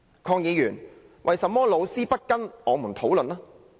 鄺議員，為甚麼老師不跟我們討論呢？